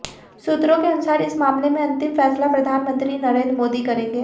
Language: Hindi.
सूत्रों के अनुसार इस मामले में अंतिम फैसला प्रधानमंत्री नरेंद्र मोदी करेंगे